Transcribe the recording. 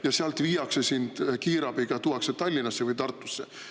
… ja sealt tuuakse sind kiirabiga Tallinnasse või viiakse Tartusse.